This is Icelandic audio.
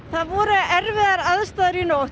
það voru erfiðar aðstæður í nótt